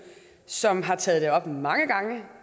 som har taget det op mange gange